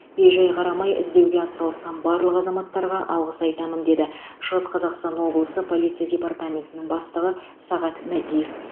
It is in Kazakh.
бей жай қарамай іздеуге атсалысқан барлық азаматтарға алғыс айтамын деді шығыс қазақстан облысы полиция департаментінің бастығы сағат мәдиев